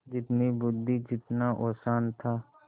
जितनी बुद्वि जितना औसान था